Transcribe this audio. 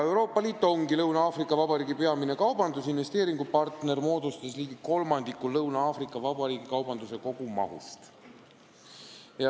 Euroopa Liit ongi Lõuna-Aafrika Vabariigi peamine kaubandus- ja investeeringupartner, kaubavahetus Euroopa Liiduga moodustas ligi kolmandiku Lõuna-Aafrika Vabariigi kaubanduse kogumahust.